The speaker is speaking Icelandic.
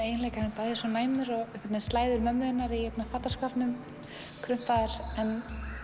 eiginleika hann er bæði svo næmur og einhvern veginn slæður mömmu þinnar í fataskápnum krumpaðar en